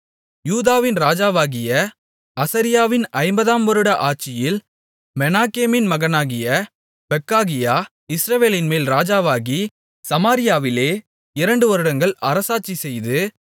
யூதாவின் ராஜாவாகிய அசரியாவின் ஐம்பதாம் வருட ஆட்சியில் மெனாகேமின் மகனாகிய பெக்காகியா இஸ்ரவேலின்மேல் ராஜாவாகி சமாரியாவிலே இரண்டுவருடங்கள் அரசாட்சிசெய்து